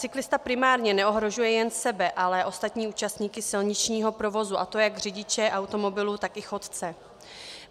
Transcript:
Cyklista primárně neohrožuje jen sebe, ale i ostatní účastníky silničního provozu, a to jak řidiče automobilů, tak i chodce.